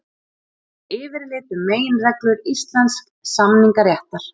Yfirlit um meginreglur íslensks samningaréttar.